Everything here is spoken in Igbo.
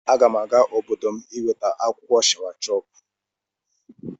Aga m aga obodo m iweta akwụkwọ shawashọpụ.